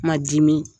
Ma dimi